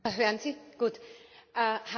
Haben Sie den Bericht gelesen?